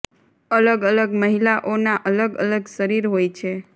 અલગ અલગ મહિલાઓ ના અલગ અલગ શરીર હોય છે